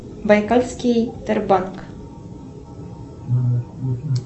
байкальский тербанк